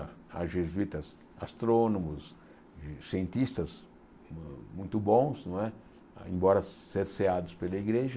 Ah jesuítas, astrônomos, e cientistas mu muito bons não é, embora cerceados pela igreja.